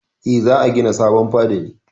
Eh, za a gina sabon fada ne.